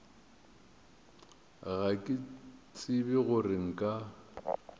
ga ke tsebe gore nka